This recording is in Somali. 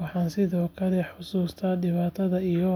Waxaan sidoo kale xasuustaa dhibaatada iyo